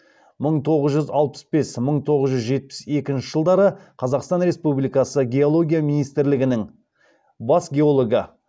мың тоғыз жүз алпыс бес мың тоғыз жүз жетпіс екінші жылдары қазақстан республикасы геология министрлігінің бас геологы